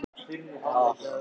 Voru æfingarnar réttar?